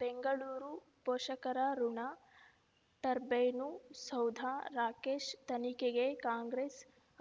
ಬೆಂಗಳೂರು ಪೋಷಕರಋಣ ಟರ್ಬೈನು ಸೌಧ ರಾಕೇಶ್ ತನಿಖೆಗೆ ಕಾಂಗ್ರೆಸ್